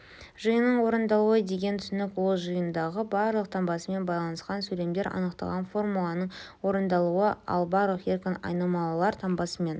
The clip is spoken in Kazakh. жиынның орындалуы деген түсінік ол жиындағы барлық таңбасымен байланысқан сөйлемдер анықталған формуланың орындалуы ал барлық еркін айнымалылар таңбасымен